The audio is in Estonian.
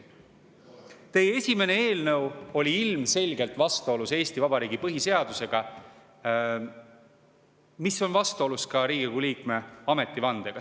Teie esimene eelnõu oli ilmselgelt vastuolus Eesti Vabariigi põhiseadusega ja vastuolus ka Riigikogu liikme ametivandega.